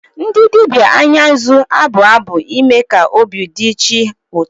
Ndị dibia Anya nzu a-abụ abụ ime ka obi dị chi ụtọ.